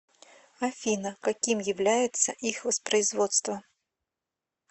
афина каким является их воспроизводство